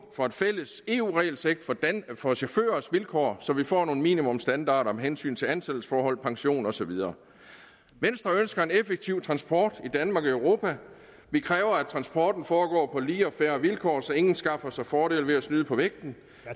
få et fælles eu regelsæt for chaufførers vilkår så vi får nogle minimumsstandarder med hensyn til ansættelsesforhold pension og så videre venstre ønsker en effektiv transport i danmark og i europa vi kræver at transporten foregår på lige og fair vilkår så ingen skaffer sig fordele ved at snyde på vægten